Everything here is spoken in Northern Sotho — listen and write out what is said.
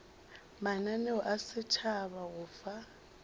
mananeo a setšhaba go fa